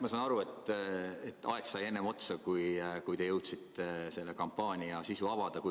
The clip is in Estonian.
Ma saan aru, et aeg sai enne otsa, kui te jõudsite selle kampaania sisu avada.